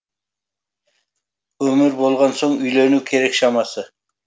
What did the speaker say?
өмір болған соң үйлену керек шамасы